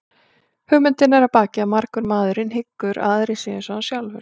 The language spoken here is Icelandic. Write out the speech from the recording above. Hugmyndin að baki er að margur maðurinn hyggur að aðrir séu eins og hann sjálfur.